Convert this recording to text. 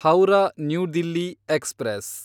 Howrah new Delhi express